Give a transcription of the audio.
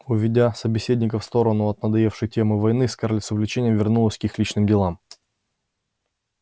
уведя собеседников в сторону от надоевшей темы войны скарлетт с увлечением вернулась к их личным делам